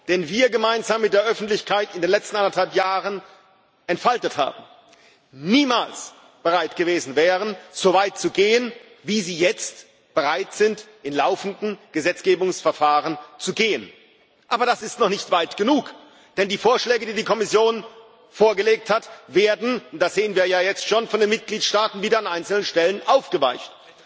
den wir gemeinsam mit der Öffentlichkeit in den letzten anderthalb Jahren entfaltet haben, niemals bereit gewesen wären, so weit zu gehen, wie sie jetzt im laufenden Gesetzgebungsverfahren bereit sind, zu gehen. Aber das ist noch nicht weit genug! Denn die Vorschläge, die die Kommission vorgelegt hat, werden und das sehen wir ja jetzt schon von den Mitgliedstaaten wieder an einzelnen Stellen aufgeweicht.